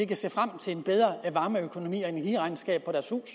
kan se frem til en bedre varmeøkonomi og energiregnskab